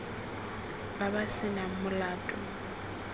ba ba se nang molato